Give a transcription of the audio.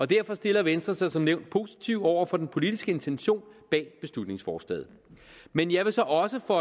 derfor stiller venstre sig som nævnt positivt over for den politiske intention bag beslutningsforslaget men jeg vil så også